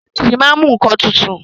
Fíríjì máa ń mú nnkan tutù.